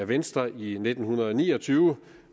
venstre i nitten ni og tyve